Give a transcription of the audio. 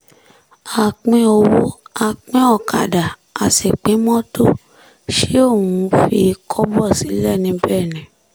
a pín owó a pín ọ̀kadà a sì pín mọ́tò ṣe òun fi kọ́bọ̀ sílẹ̀ níbẹ̀ ni